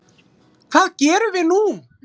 Hvað gerum við nú